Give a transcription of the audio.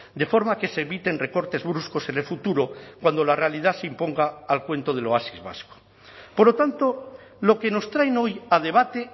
de forma que se eviten recortes bruscos en el futuro cuando la realidad se imponga al cuento del oasis vasco por lo tanto lo que nos traen hoy a debate